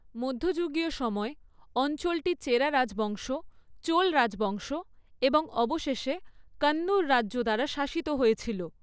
মধ্যযুগীয় সময়ে, অঞ্চলটি চেরা রাজবংশ, চোল রাজবংশ এবং অবশেষে কান্নুর রাজ্য দ্বারা শাসিত হয়েছিল।